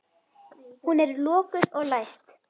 Hún er lokuð og læst.